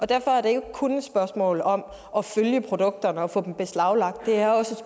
derfor er det ikke kun et spørgsmål om at følge produkterne og få dem beslaglagt det er også